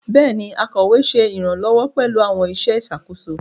Béèni, akọwé ṣe iranlọwọ pẹlú àwọn iṣẹ ìṣàkóso